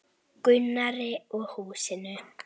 Gunnari og húsinu.